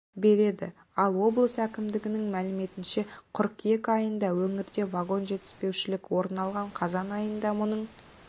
береді ал облыс әкімдігінің мәліметінше қыркүйек айында өңірде вагон жетіспеушілік орын алған қазан айында мұның